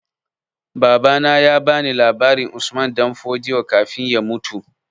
Babana ya ba ni labarin Usman Danfodio kafin ya mutu